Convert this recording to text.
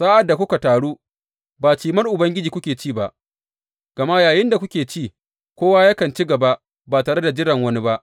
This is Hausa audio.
Sa’ad da kuka taru, ba Cimar Ubangiji kuke ci ba, gama yayinda kuke ci, kowa yakan ci gaba ba tare da jiran wani ba.